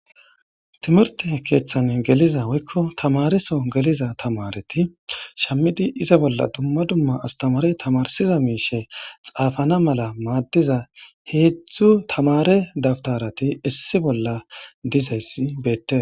Timirte keeththane geliza woykko tamareso geliza tamareti shammidi iza bolla dumma dumma astamare tamarsiza miishe xaafana mala maaddiza heedzdzu tamare dabtarati issi bolla dizayssi beette.